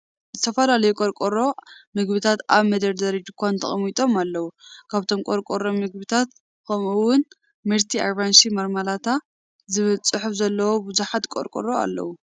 ዝተፈላለዩ ቆርቆሮ ምግብታት ኣብ መደርደሪ ድኳን ተቐሚጦም ኣለዉ። ካብቶም ቆርቆሮ ምግብታት፡ ከምኡ'ውን "መርቲ ኣራንሺ ማርማላታ" ዝብል ጽሑፍ ዘለዎም ብዙሓት ቆርቆሮ ኣለዉ።